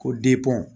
Ko